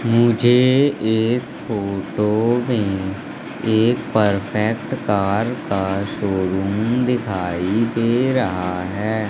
मुझे इस फोटो में एक परफेक्ट कार का शोरूम दिखाई दे रहा है।